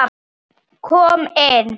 Það fannst okkur alveg magnað.